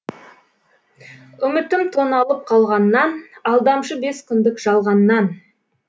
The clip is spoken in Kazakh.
үмітім тоналып қалғаннан алдамшы бес күндік жалғаннан